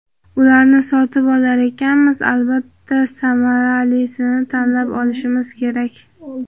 Ularni sotib olar ekanmiz, albatta, samaralisini tanlab olishimiz kerak.